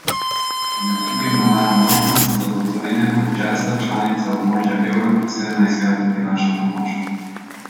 Med drugim navaja možnost, da bo Slovenija kot šesta članica območja evra prisiljena iskati finančno pomoč.